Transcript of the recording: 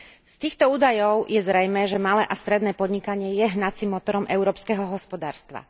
Z týchto údajov je zrejmé, že malé a stredné podnikanie je hnacím motorom európskeho hospodárstva.